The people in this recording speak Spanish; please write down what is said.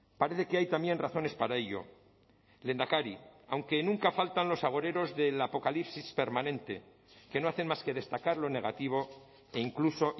parece que hay también razones para ello lehendakari aunque nunca faltan los agoreros del apocalipsis permanente que no hacen más que destacar lo negativo e incluso